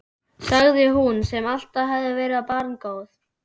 sagði hún, sem alltaf hafði verið svo barngóð.